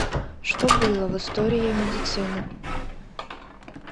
что было в история медицины